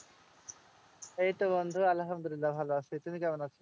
এইতো বন্ধু আলহামদুল্লিয়াহ ভালো আছি। তুমি কেমন আছো?